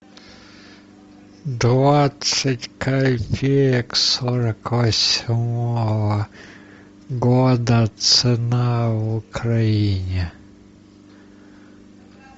двадцать копеек сорок восьмого года цена в украине